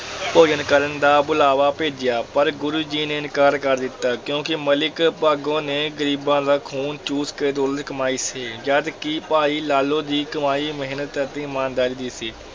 ਭੋਜਨ ਕਰਨ ਦਾ ਬੁਲਾਵਾ ਭੇਜਿਆ ਪਰ ਗੁਰੂ ਜੀ ਨੇ ਇਨਕਾਰ ਕਰ ਦਿੱਤਾ ਕਿਉਂਕਿ ਮਲਿਕ ਭਾਗੋ ਨੇ ਗ਼ਰੀਬਾਂ ਦਾ ਖ਼ੂਨ ਚੂਸ ਕੇ ਦੌਲਤ ਕਮਾਈ ਸੀ, ਜਦ ਕਿ ਭਾਈ ਲਾਲੋ ਦੀ ਕਮਾਈ ਮਿਹਨਤ ਅਤੇ ਈਮਾਨਦਾਰੀ ਦੀ ਸੀ।